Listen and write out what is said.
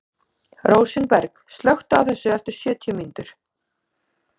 Rósinberg, slökktu á þessu eftir sjötíu mínútur.